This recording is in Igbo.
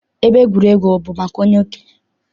Ebe egwuregwu bụ maka okenye?